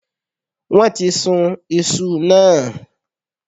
Wón ti sun isu náà